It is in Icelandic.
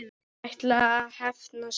Hann ætlaði að hefna sín!